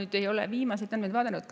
Ma ei ole viimaseid andmeid vaadanud.